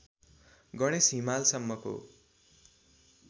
Ganesh हिमालसम्मको